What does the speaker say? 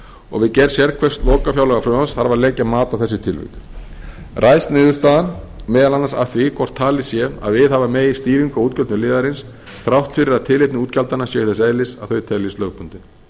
og við gerð sérhvers lokafjárlagafrumvarps þarf að leggja mat á þessi tilvik ræðst niðurstaðan meðal annars af því hvort talið sé að viðhafa megi stýringu á útgjöldum liðarins þrátt fyrir að tilefni útgjaldanna séu þess eðlis að þau teljist lögbundin